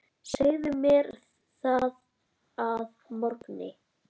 Segðu mér það að morgni.